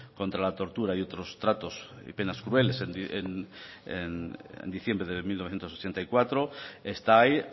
contra la tortura y otros tratos y penas crueles en diciembre de mil novecientos ochenta y cuatro está ahí